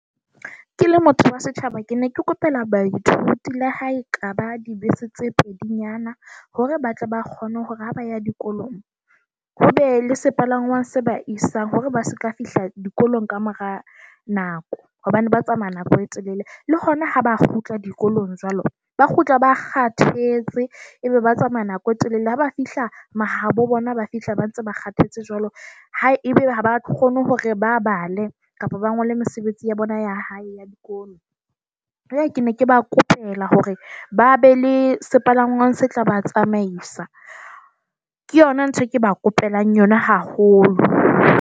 Ke le motho wa setjhaba, ke ne ke kopela baithuti la hae le ha ekaba dibese tse pedinyana hore ba tle ba kgone hore ha ba ya dikolong, ho be le sepalangwa se ba isang hore ba seka fihla dikolong ka mora nako. Hobane ba tsamaya nako e telele le hona ha ba kgutla dikolong jwalo. Ba kgutla ba kgathetse, ebe ba tsamaya nako e telele ha ba fihla mahabo bona, ba fihla ba ntse ba kgathetse jwalo haebe ha ba kgone hore ba bale kapa ba ngole mesebetsi ya bona ya hae ya dikolo. e kene. Ke ba kopela hore ba be le sepalangwang se tla ba tsamaisa. Ke yona nthwe ke ba kopelang yona haholo.